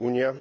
Unia